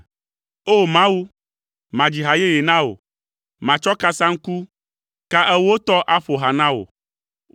O! Mawu, madzi ha yeye na wò, matsɔ kasaŋku, ka ewo tɔ aƒo ha na wò,